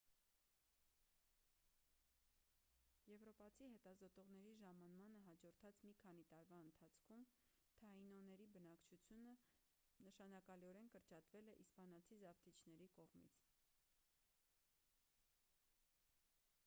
եվրոպացի հետազոտողների ժամանմանը հաջորդած մի քանի տարվա ընթացքում թաինոների բնակչությունը նշանակալիորեն կրճատվել է իսպանացի զավթիչների կողմից